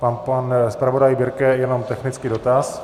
Pan zpravodaj Birke jenom technický dotaz.